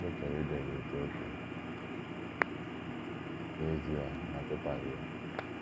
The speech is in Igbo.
Ụfọdụ chọrọ Iden n’Etiopia — n’ezie, ha achọtaghị ya.